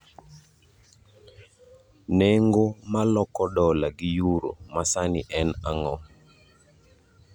Nengo ma loko dola gi euro ma sani en ang'o